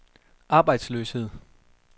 arbejdsløshed